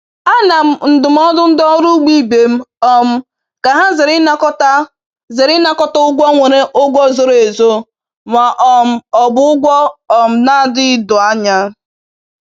A na m ndụmọdụ ndị ọrụ ugbo ibe m um ka ha zere ịnakọta zere ịnakọta ụgwọ nwere ụgwọ zoro ezo ma um ọ bụ ụgwọ um na-adịghị doo anya